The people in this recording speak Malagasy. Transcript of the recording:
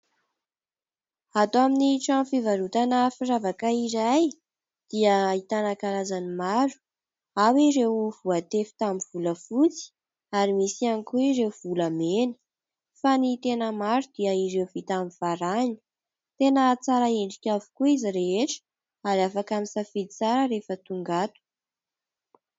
Ato amin'ny trano fivarotana firavaka iray dia ahitana karazany maro. Ao ireo voatefy tamin'ny vola fotsy ary misy ihany koa ireo vola mena, fa ny tena maro dia ireo vita amin'ny varahina. Tena tsara endrika avokoa izy rehetra, ary afaka misafidy tsara rehefa tonga ato.